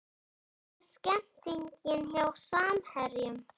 Hvernig er stemningin hjá Samherjum?